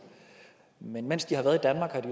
men mens de har været